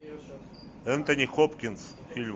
энтони хопкинс фильм